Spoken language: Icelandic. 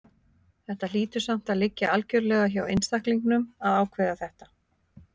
Þetta hlýtur samt að liggja algjörlega hjá einstaklingnum að ákveða þetta.